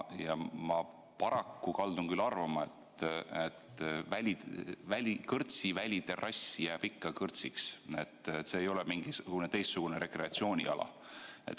Ja ma paraku kaldun küll arvama, et kõrtsi väliterrass jääb ikka kõrtsiks, see ei ole mingisugune teistsugune rekreatsiooniala.